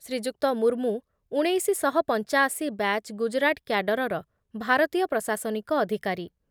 ଶ୍ରୀଯୁକ୍ତ ମୁର୍ମୁ ଉଣେଇଶି ଶହ ପଞ୍ଚାଅଶି ବ୍ୟାଚ୍ ଗୁଜରାଟ କ୍ୟାଡରର ଭାରତୀୟ ପ୍ରଶାସନିକ ଅଧିକାରୀ